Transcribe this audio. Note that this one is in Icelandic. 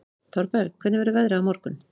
Thorberg, hvernig verður veðrið á morgun?